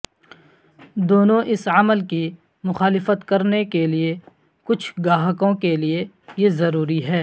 دونوں اس عمل کی مخالفت کرنے کے لئے کچھ گاہکوں کے لئے یہ ضروری ہے